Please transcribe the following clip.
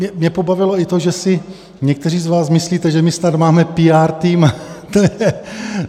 Mě pobavilo i to, že si někteří z vás myslíte, že my snad máme píár tým.